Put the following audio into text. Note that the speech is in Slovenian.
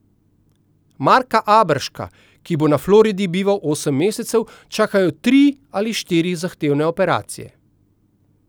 Marka Aberška, ki bo na Floridi bival osem mesecev, čakajo tri ali štiri zahtevne operacije.